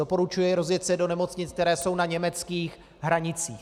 Doporučuji rozjet se do nemocnic, které jsou na německých hranicích.